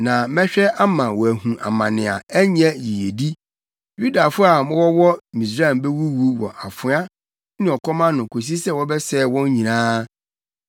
Na mɛhwɛ ama wɔahu amane na ɛnyɛ yiyedi; Yudafo a wɔwɔ Misraim bewuwu wɔ afoa ne ɔkɔm ano kosi sɛ wɔbɛsɛe wɔn nyinaa.